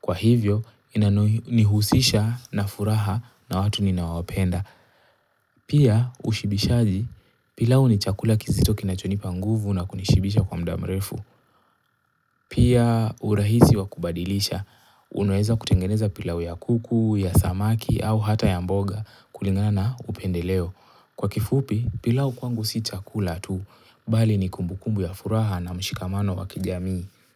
Kwa hivyo inanihusisha na furaha na watu ninaowapenda. Pia ushibishaji pilau ni chakula kizito kinachonipa nguvu na kunishibisha kwa mda mrefu Pia urahisi wa kubadilisha Unaeza kutengeneza pilau ya kuku, ya samaki au hata ya mboga kulingana na upendeleo Kwa kifupi pilau kwangu si chakula tu Bali ni kumbukumbu ya furaha na mshikamano wa kijamii.